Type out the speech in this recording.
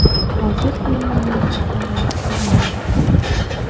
Hozir bemorning ahvoli yaxshilandi.